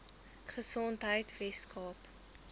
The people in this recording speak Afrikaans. gesondheidweskaap